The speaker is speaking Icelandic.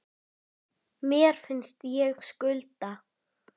Mér finnst ég skulda